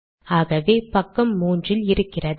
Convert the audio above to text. ஆகவே பக்கம் 3 இல் இருக்கிறது